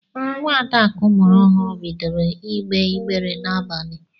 Nwa Adakụ mụrụ ọhụrụ bidoro igbe igbere n'abalị.